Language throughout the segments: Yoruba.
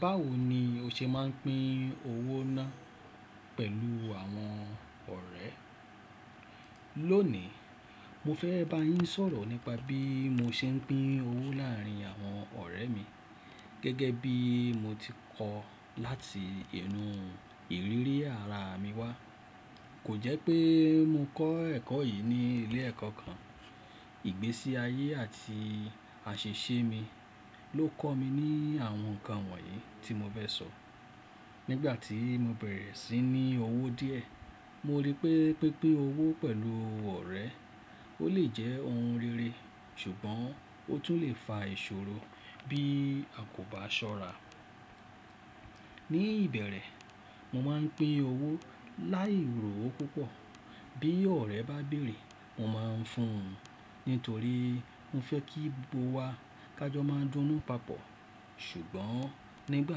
Báwo ni o ṣe máa ń pín owó ná pẹ̀lú àwọn ọ̀rẹ́? Lónìí, mo fẹ́ bá yín sọ̀rọ̀ nípa bí mo ṣe ń pín owó láàárín àwọn ọ̀rẹ́ mi gẹ́gẹ́ bí mo ti kọ́ láti inu ìrírí ara mi wá. Kò jẹ́ pé mo kọ́ ẹ̀kọ́ yìí ní ilé ẹ̀kọ́ kan. Ìgbésí ayé àti àṣìṣe mi ló kọ́ mi ní àwọn nǹkan wọ̀nyí tí mo fẹ́ sọ. Nígbà tí mo bẹ̀rẹ̀ sí ní owó díẹ̀, mo rí pé pínpín owó pẹ̀lú ọ̀rẹ́ ó lè jẹ́ ohun rere ṣùgbọ́n ó tún lè fa ìṣòro bí a kò bá ṣọ́ra. Ni ìbẹ̀rẹ̀, mo máa ń pín owó láì rò ó púpọ̀. Bí ọ̀rẹ́ bá béèrè, mo máa ń fún un nítorí mo fẹ́ kí gbogbo wa ká jọ máa dúnú papọ̀. Ṣùgbọ́n nígbà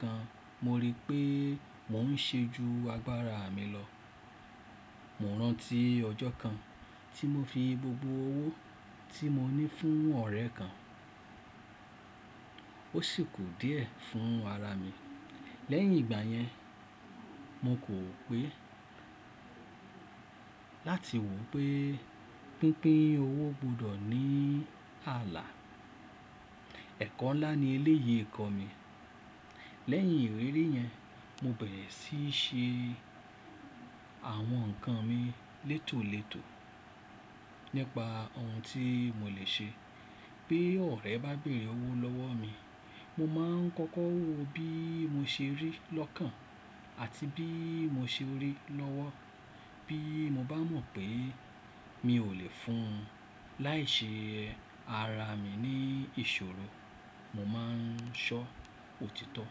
kan, mo rí pé mò ń ṣe ju agbára mi lọ. Mo rántí ọjọ́ kan tí mo fi gbogbo owó tí mo ní fún ọ̀rẹ́ kan, ó sì kù díẹ̀ fún ara mi. Lẹ́yìn ìgbà yẹn, mo kò pé láti wò pé pínpín owó gbọdọ̀ ní ààlà. Ẹ̀kọ́ ńlá ni eléyìí kọ́ mi. Lẹ́yìn ìrírí yẹn, mo bẹ̀rẹ̀ sí ṣe àwọn nǹkan mi létò létò nípa ohun tí mo lè ṣe. Bí ọ̀rẹ́ bá béèrè owó lọ́wọ́ mi, mo máa ń kọ́kọ́ wò bí mo ṣe rí lọ́kàn àti bí mo ṣe rí i lọ́wọ́. Bí mo bá mọ̀ pé mi ò lè fún un láì ṣe ara mi ní ìṣòro, mo máa ń sọ òtítọ́.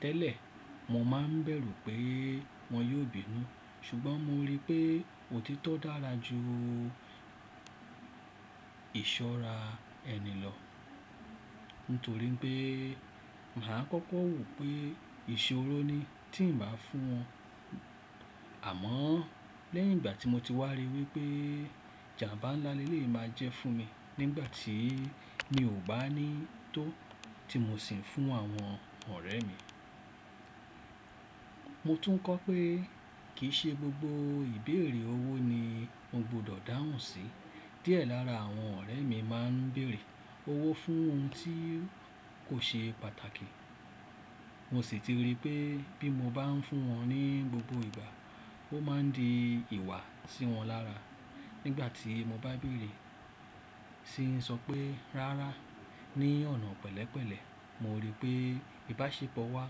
Tẹ́lẹ̀, mo máa ń bẹ̀rù pé wọ́n yóò bínú ṣùgbọ́n mo rí pé òtítọ́ dára ju ìsọ́ra ẹni lọ nítorí pé mà á kọ́kọ́ wò pé ìṣòro ni tí ń bá fún wọn. Àmọ́, lẹ́yìn ìgbà tí mo ti wá rí i wí pé jàmbá ńlá le lè máa jẹ́ fún mi nígbà tí mi ò bá ní tó tí mo sì ń fún àwọn ọ̀rẹ́ mi. Mo tún kọ́ pé kì í ṣe gbogbo ìbéèrè owó ni mo gbọdọ̀ dáhùn sí. Díẹ̀ lára àwọn ọ̀rẹ́ mi máa ń béèrè owó fún ohun tí kò ṣe pàtàkì. Mo sì ti rí pé bí mo bá ń fún wọn ní gbogbo ìgbà, ó máa ń di ìwà sí wọn lára nígbà tí mo bá béèrè. Sí ń sọ pé, rárá, ní ọ̀nà pẹ̀lẹ́pẹ̀lẹ́, mo rí pé ìbáṣepọ̀ wa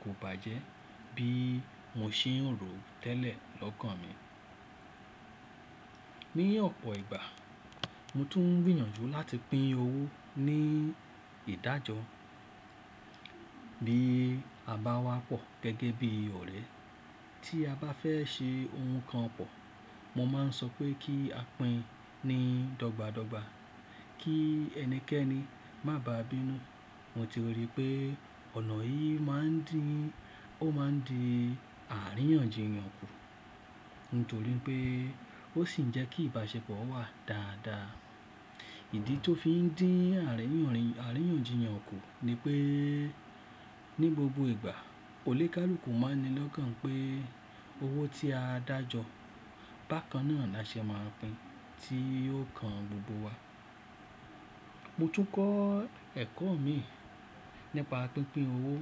kò bàjẹ́ bí mo ṣe ń rò ó tẹ́lẹ̀ lọ́kàn mi. Ni ọ̀pọ̀ ìgbà, mo tún gbìyànjú láti pín owó ní ìdájọ́. Bí a bá wá pọ̀ gẹ́gẹ́ bí ọ̀rẹ́, tí a bá fẹ́ ṣe ohun kan pọ̀, mo máa ń sọ pé kí a pín ni dọ́gba dọ́gba kí ẹnikẹ́ni má bàá bínú. Mo ti rí pé ọ̀nà yìí máa ń di, ó máa ń di àríyànjiyàn kù nítorí pé ó sì ń jẹ́ kí ìbáṣepọ̀ wà dáadáa. Ìdí tó fi ń dín àríyànjiyàn kù ni pé ní gbogbo ìgbà, onikàlùkù máa ń ni lọ́kàn pé owó tí a dájọ́ bákan náà la ṣe máa ń pín tí yóò kan gbogbo wa. Mo tún kọ́ ẹ̀kọ́ min nípa pínpín owó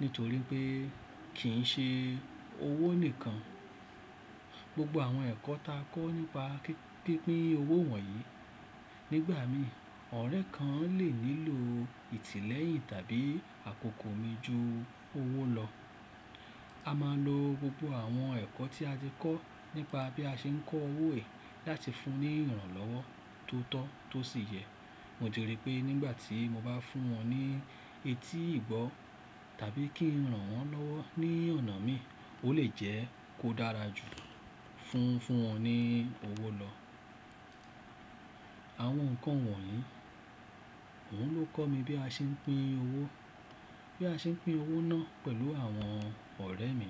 nítorí pé kìn í ṣe owó nìkan. Gbogbo àwọn ẹ̀kọ́ ta kọ́ nípa pínpín owó wọ̀nyí. Nígbà mìí, ọ̀rẹ́ kan lè nílò ìtìlẹ́yìn tàbí àkókò mi ju owó lọ. A máa ń lo gbogbo àwọn ẹ̀kọ́ tí a ti kọ́ nípa bí a ṣe ń kọ́ owó yii láti fún ní ìrànlọ́wọ́ tó tọ́ tó sì yẹ. Mo ti rí i pé nígbà tí mo bá fún wọn ní etí ìgbọ́ tàbí kí ń ràn wọ́n lọ́wọ́ ní ọ̀nà mi, ó lè jẹ́ kó dára jù fún fún wọn ní owó lọ. Àwọn nǹkan wọ̀nyí oun ló kọ́ mi bí a ṣe ń pín owó, bí a ṣe ń pín owó náà pẹ̀lú àwọn ọ̀rẹ́ mi.